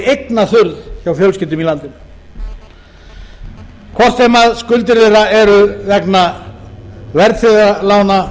eignaþurrð hjá fjölskyldum í landinu hvor sem skuldir þeirra eru vegna verðtryggðra lána